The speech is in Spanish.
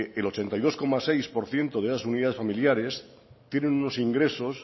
el ochenta y dos coma seis por ciento de esas unidades familiares tienen unos ingresos